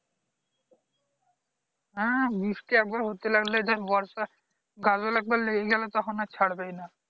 হ্যাঁ বৃষ্টি একবার হতে লাগলে দেখ বর্ষা গাজোল একবার লেগে গেলে তখন আর ছাড়বেই না